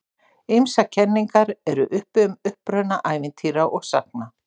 Ýmsar kenningar eru uppi um uppruna ævintýra og sagna.